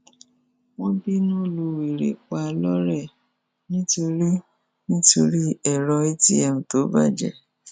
wọn bínú lu wèrè pa lọrẹ nítorí nítorí èrò atm tó bàjẹ